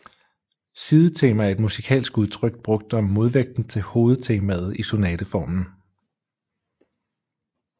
Sidetema er et musikalsk udtryk brugt om modvægten til hovedtemaet i sonateformen